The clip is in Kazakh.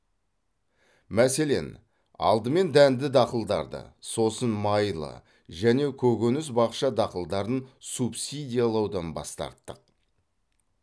мәселен алдымен дәнді дақылдарды сосын майлы және көкөніс бақша дақылдарын субсидиялаудан бас тарттық